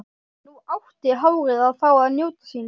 Nú átti hárið að fá að njóta sín.